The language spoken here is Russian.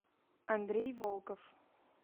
андрей волков